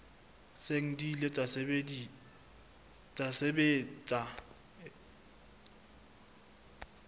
seng di ile tsa sebetsa